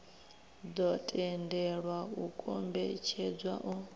ḓo tendelwa u kombetshedza u